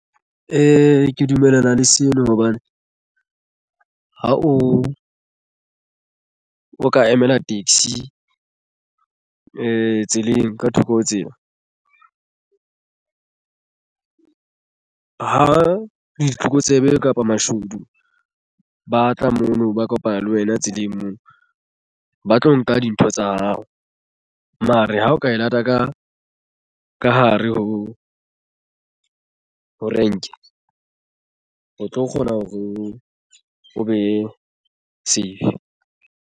Ke dumellana le sena hobane ha o ka emela taxi e tseleng ka thoko ho tsela ha ditlokotsebe kapa mashodu ba tla mona ba kopana le wena tseleng moo ba tlo nka dintho tsa hao mono re ha o ka e lata ka hare ho renke o tlo kgona hore o be safe.